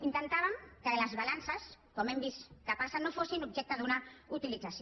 intentàvem que les balances com hem vist que passa no fossin objecte d’una utilització